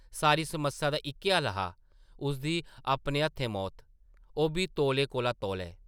सारी समस्या दा इक्कै हल हा– उसदी अपने हत्थें मौत, ओʼब्बी तौले कोला तौले ।